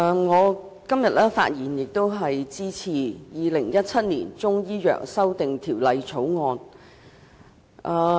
主席，我發言支持《2017年中醫藥條例草案》。